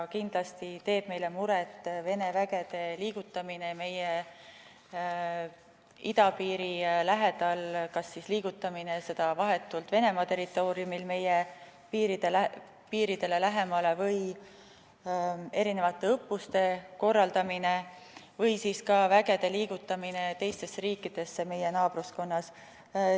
Kindlasti teeb meile muret Vene vägede liigutamine meie idapiiri lähedal – kas nende liigutamine vahetult Venemaa territooriumil meie piiridele lähemale, õppuste korraldamine või ka vägede liigutamine teistesse riikidesse meie naabruskonnas.